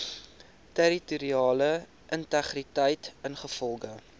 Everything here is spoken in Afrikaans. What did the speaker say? territoriale integriteit ingevolge